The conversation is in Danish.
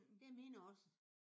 Det er mine også